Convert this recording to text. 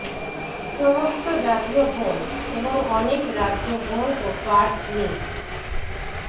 সমস্ত জাতীয় বন এবং অনেক রাজ্য বন ও পার্ক লিঙ্ক